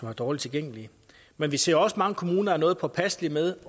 har dårlig tilgængelighed men vi ser også at mange kommuner er noget påpasselige med